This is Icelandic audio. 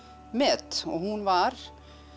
met og hún var